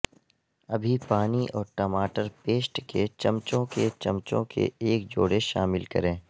ابھی پانی اور ٹماٹر پیسٹ کے چمچوں کے چمچوں کے ایک جوڑے شامل کریں